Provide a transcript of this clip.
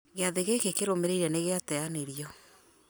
gĩathĩ gĩkĩ kĩrũmĩrĩire nĩgĩateanĩrio